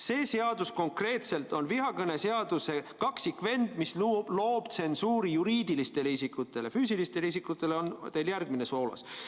See seadus konkreetselt on vihakõneseaduse kaksikvend, mis loob tsensuuri juriidilistele isikutele, füüsilistele isikutele on teil järgmine soolas.